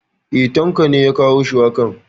E ,Tanko ne ya kawo shuwakan.